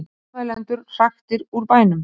Mótmælendur hraktir úr bænum